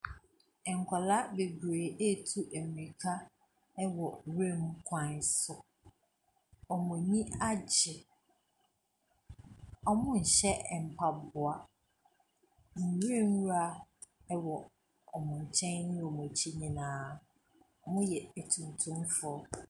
Nkwadaa beberee ɛretu mirika wɔ nwura mu kwan so, wɔn ani agye, wɔnhyɛ mpaboa. Nwura nwura wɔ wɔn nkyɛn ne wɔn akyi nyinaa. Wɔyɛ etuntumfoɔ.